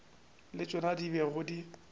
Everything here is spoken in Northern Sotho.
le tšona di bego di